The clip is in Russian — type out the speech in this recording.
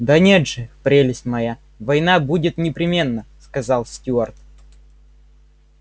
да нет же прелесть моя война будет непременно сказал стюарт